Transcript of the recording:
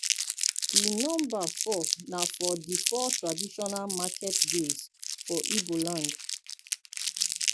di nomba four na for di four traditional market days for igbo land